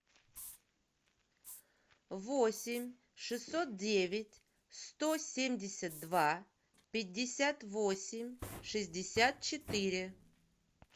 восемь шестьсот девять сто семьдесят два пятьдесят восемь шестьдесят четыре